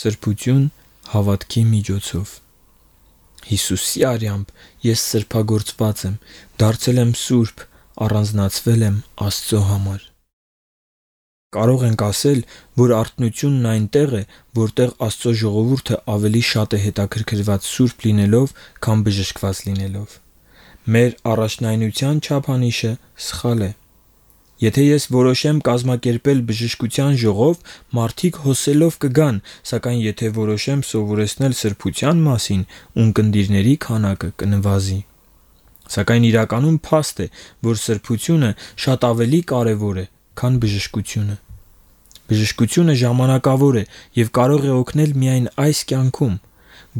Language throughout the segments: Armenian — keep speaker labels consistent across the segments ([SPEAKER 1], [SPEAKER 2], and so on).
[SPEAKER 1] «ՍՐԲՈՒԹՅՈՒՆ ՀԱՎԱՏՔԻ ՄԻՋՈՑՈՎ» Հիսուսի արյամբ ես սրբագործված եմ, դարձել եմ սուրբ, առանձնացվել եմ Աստծո համար։ Մենք կարող ենք ասել, որ արթնությունն այնտեղ է, որտեղ Աստծո ժողովուրդը ավելի շատ հետաքրքրված է սուրբ լինելով, քան բժշկված լինելով։ Մեր առաջնայնության չափանիշը սխալ է։ Եթե ես որոշեմ կազմակերպել բժշկության ժողով, մարդիկ հոսելով կգան, սակայն եթե որոշեմ սովորեցնել սրբության մասին, ունկնդիրների քանակը կնվազի։ Սակայն իրականում, փաստ է, որ սրբությունը շատ ավելի կարևոր է, քան բժշկությունը։ Բժշկությունը ժամանակավոր է և կարող է օգնել միայն այս կյանքում։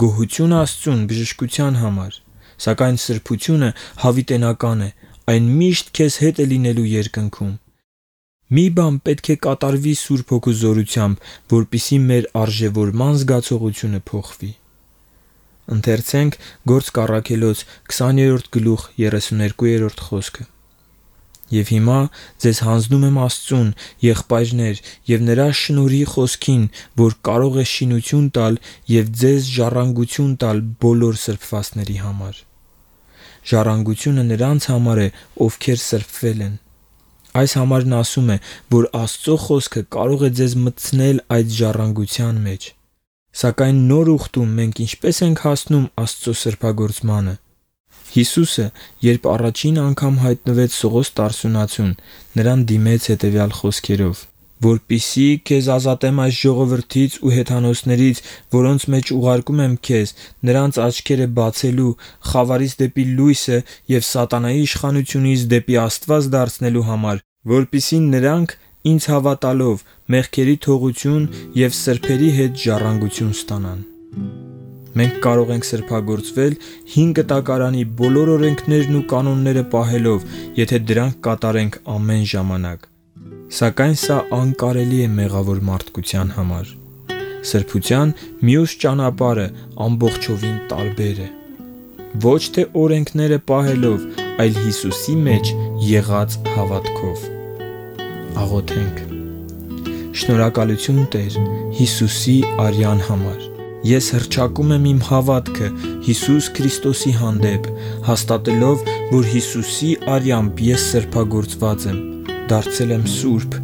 [SPEAKER 1] Գոհություն Աստծուն բժշկության համար։ Սակայն սրբությունը հավիտենական է, այն միշտ քեզ հետ է լինելու երկնքում։ Մի բան պետք է կատարվի Սուրբ Հոգու զորությամբ, որպեսզի մեր արժեվորման զգացողությունը փոխվի․ «Եվ հիմա ձեզ հանձնում եմ Աստծուն, եղբայրնե՛ր ու Նրա շնորհի խոսքին, որ կարող է շինություն տալ և ձեզ ժառանգություն տալ բոլոր սրբվածների համար»։ Գործք Առաքելոց 20:32 Ժառանգությունը նրանց համար է, ովքեր սրբել են։ Այս համարն ասում է, որ Աստծո Խոսքը կարող է ձեզ մտցնել այդ ժառանգության մեջ։ Սակայն նոր ուխտում մենք ինչպե՞ս ենք հասնում Աստծո սրբագործմանը։ Հիսուսը, երբ առաջին անգամ հայտնվեց Սողոս Տարսոնացուն (Պողոսին), հանձնարարեց. «Որպեսզի քեզ ազատեմ այդ ժողովրդից ու հեթանոսներից, որոնց մեջ ուղարկում եմ քեզ՝ նրանց աչքերը բացելու, խավարից դեպի լույսը և սատանայի իշխանությունից դեպի Աստված դարձնելու համար, որպեսզի նրանք, ինձ հավատալով, մեղքերի թողություն և սրբերի հետ ժառանգություն ստանան»։ Գործք Առաքելոց 26:17-18 Մենք կարող ենք սրբագործվել, Հին Կտակարանի բոլոր օրենքներն ու կանոնները պահելով, եթե դրանք կատարենք ամեն ժամանակ։ Սակայն սա անկարելի է մեղավոր մարդկության համար։ Սրբության մյուս ճանապարհը ամբողջովին տարբեր է. ոչ թե օրենքները պահելով, այլ Հիսուսի մեջ եղած հավատքով։ Շնորհակալությու՛ն, Տե՛ր, Հիսուսի արյան համար։ Ես հռչակում եմ իմ հավատքը Հիսուս Քրիստոսի հանդեպ՝ հաստատելով, որ Հիսուսի արյամբ ես սրբագործված եմ, դարձել եմ սուրբ,